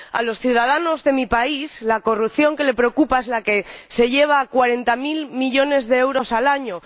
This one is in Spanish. A los ciudadanos de mi país la corrupción que les preocupa es la que se lleva cuarenta mil millones de euros al año